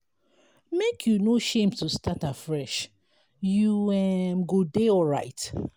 make you no shame to start afresh you um go dey alright.